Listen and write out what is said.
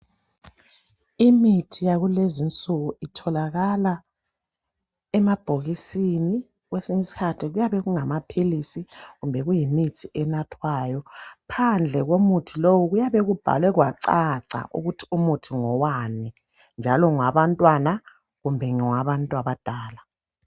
Imithi yakulezinsuku itholakala emabhokisini kwesinye isikhathi kuyabe kungamaphilisi kumbe imithi enathwayo. Phandle komuthi lowu kuyabe kubhalwe kwacaca ukuthi umuthi ngowani njalo ngowabantwana kumbe ngowabantu abadala.